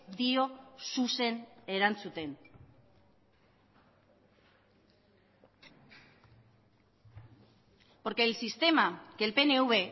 dio zuzen erantzuten porque el sistema que el pnv